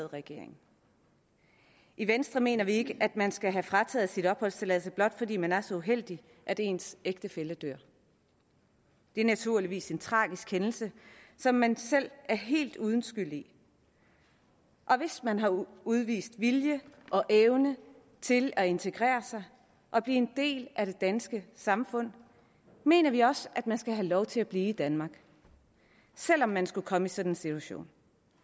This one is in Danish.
regering i venstre mener vi ikke at man skal have frataget sin opholdstilladelse blot fordi man er så uheldig at ens ægtefælle dør det er naturligvis en tragisk hændelse som man selv er helt uden skyld i og hvis man har udvist vilje og evne til at integrere sig og blive en del af det danske samfund mener vi også man skal have lov til at blive i danmark selv om man skulle komme i sådan en situation